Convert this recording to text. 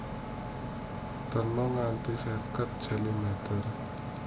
Terna nganti seket centimeter